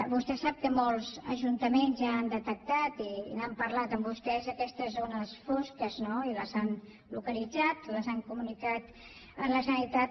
vostè sap que molts ajuntaments ja han detectat i n’han parlat amb vostès aquestes zones fosques no i les han localitzat les han comunicat a la generalitat